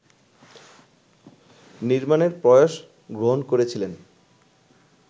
নির্মাণের প্রয়াস গ্রহণ করেছিলেন